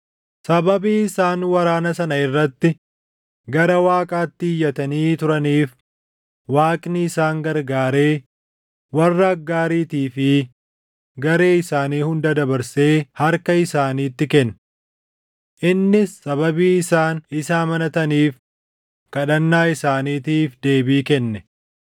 Sababii isaan waraana sana irratti gara Waaqaatti iyyatanii turaniif Waaqni isaan gargaaree warra Aggaariitii fi garee isaanii hunda dabarsee harka isaaniitti kenne. Innis sababii isaan isa amanataniif kadhannaa isaaniitiif deebii kenne.